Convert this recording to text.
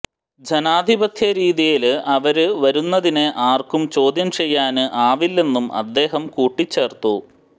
ജനാധിപത്യ രീതിയില് അവര് വരുന്നതിനെ ആര്ക്കും ചോദ്യം ചെയ്യാന് ആവില്ലെന്നും അദ്ദേഹം കൂട്ടിച്ചേര്ത്തു